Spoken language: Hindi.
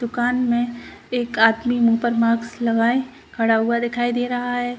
दुकान में एक आदमी मुंह पर मार्क्स लगाए खड़ा हुआ दिखाई दे रहा है।